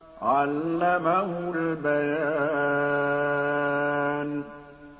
عَلَّمَهُ الْبَيَانَ